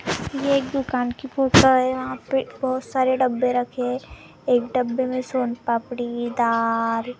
ये एक दुकान की फोटो है यहां पे बहुत सारे डब्बे रहे हैं एक डब्बे में सोन पापड़ी दाल--